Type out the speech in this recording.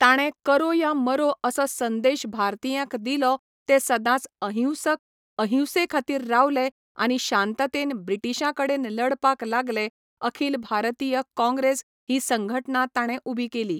ताणे करो या मरो असो संदेश भारतीयांक दिलो ते सदांच अहिंसक अहिंसे खातीर रावले आनी शांततेन ब्रिटिशां कडेन लडपाक लागले अखिल भारतीय काँग्रेस ही संघटना ताणें उबी केली